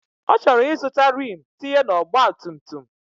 Ọchọrọ izụta Rim tinye na ọgba tum tum.